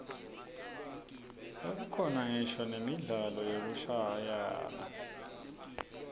sekukhona ngisho nemidlalo yekushayana